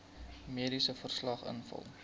mediese verslag invul